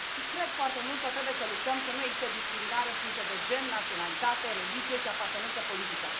Și cred foarte mult că trebuie să luptăm să nu existe discriminare în funcție de gen, naționalitate, religie și apartenență politică.